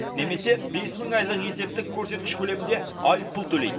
немесе бес мың айлық есептік көрсеткіш көлемінде айыппұл төлейді